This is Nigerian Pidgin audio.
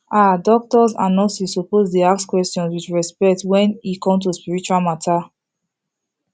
ah doctors and nurses suppose dey ask questions with respect wen e come to spiritual matter